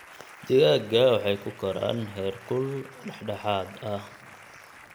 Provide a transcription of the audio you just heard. Digaagga waxay ku koraan heerkul dhexdhexaad ah.